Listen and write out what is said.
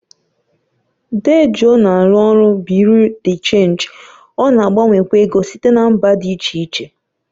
Dee Joe na-arụ ọrụ Bị́yurị́ dé Chénji, ọ na-agbanwekwa ego site na mba dị iche iche,